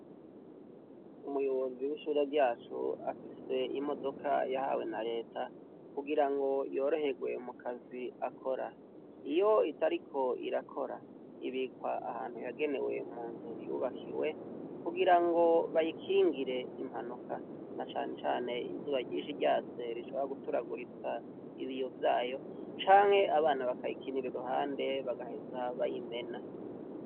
Umuyobozi w'ishure ryacu afise imodoka yahawe na reta kugirango yoroherwe mu kazi akora, iyo itariko ibikwa ahantu yagenewe munzu yubakiwe, kugirango bayikingire impanuka na canecane izuba ryinshi ryatse rishobora guturaguritsa ibiyo vyayo canke abana bakayikinira iruhande bagaheza bayimena.